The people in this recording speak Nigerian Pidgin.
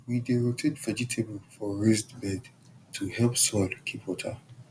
we dey rotate vegetable for raised bed to help soil keep water